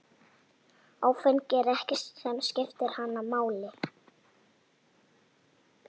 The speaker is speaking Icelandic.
Áfengi er ekkert sem skiptir hann máli.